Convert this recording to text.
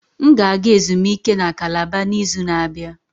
M ga-aga ezumike na Calabar n'izu na-abịa.